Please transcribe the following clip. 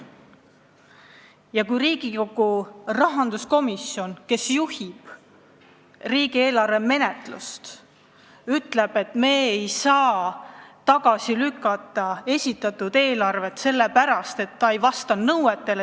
Ja Riigikogu rahanduskomisjon, kes juhib riigieelarve menetlust, ütleb, et me ei saa eelarvet tagasi lükata sellepärast, et see ei vasta meie nõuetele.